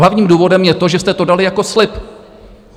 Hlavním důvodem je to, že jste to dali jako slib.